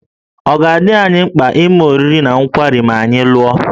Ọ̀ dị anyị mkpa ime oriri na nkwari ma anyị lụọ?